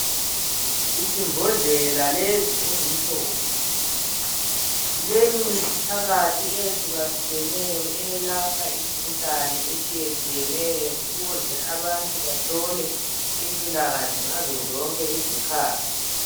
Izimbodlela lezi ezimhlophe zilemithi phakathi eyehlukahlukeneyo eyelapha imikhuhlane etshiyetshiyeneyo ukuze abantu bathole impilakahle ngazo zonke izikhathi.